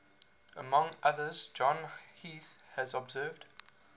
among others john heath has observed